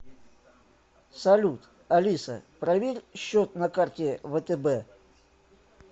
салют алиса проверь счет на карте втб